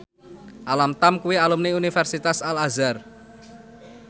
Alam Tam kuwi alumni Universitas Al Azhar